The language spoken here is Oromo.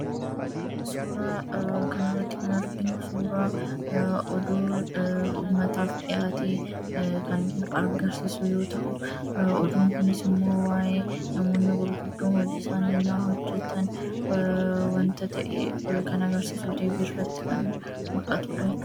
Suuraa kana irratti kan arginu suuraa oduu uummataaf dhiyaate kan agarsiisu yoo ta'u, oduun kunis immoo waa'ee namoonni gurguddoon hojii isaanii yennaa hojjetan dhag-ilaalii irratti kan muldhatudha.